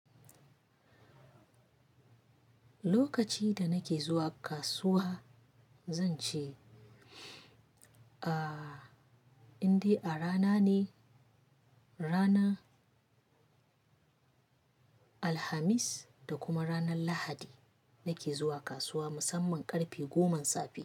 Lokaci da nake zuwa kasuwa zan ce, a indai a rana ne, rana Alhamis da kuma ranar Lahadi nake zuwa kasuwa musamman ƙarfe goman safe.